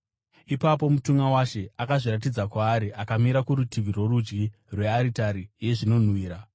Ipapo mutumwa waShe akazviratidza kwaari, akamira kurutivi rworudyi rwearitari yezvinonhuhwira.